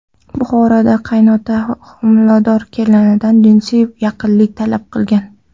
Buxoroda qaynota homilador kelinidan jinsiy yaqinlik talab qilgan.